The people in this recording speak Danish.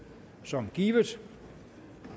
som givet